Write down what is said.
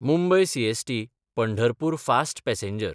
Mumbai सीएसटी–पंढरपूर fast passenger